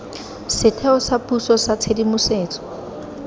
setheo sa puso sa tshedimosetso